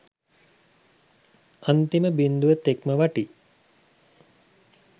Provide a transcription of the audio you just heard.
අන්තිම බිංදුව තෙක්ම වටී